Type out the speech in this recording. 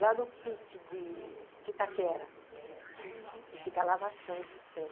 Lá no pi ti de Itaquera, que fica a lavação dos trens.